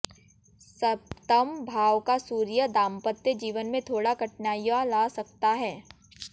सप्तम भाव का सूर्य दांपत्य जीवन में थोड़ा कठिनाइयां ला सकता है